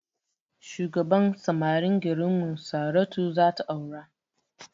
Shugaban samarin garinmu saratu zata aura